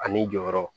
A ni jɔyɔrɔ